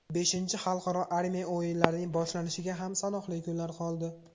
Beshinchi xalqaro armiya o‘yinlarining boshlanishiga ham sanoqli kunlar qoldi.